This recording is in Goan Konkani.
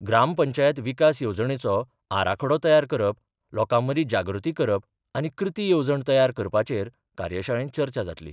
ग्रामपंचायत विकास येवजणेचो आराखडो तयार करप, लोकांमदी जागृती करप आनी कृती येवजण तयार करपाचेर कार्यशाळेत चर्चा जातली.